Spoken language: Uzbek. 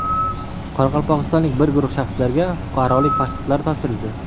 Qoraqalpog‘istonlik bir guruh shaxslarga fuqarolik pasportlari topshirildi.